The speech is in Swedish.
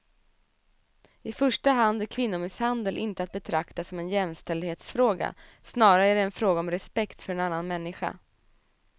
I första hand är kvinnomisshandel inte att betrakta som en jämställdhetsfråga, snarare är det en fråga om respekt för en annan människa.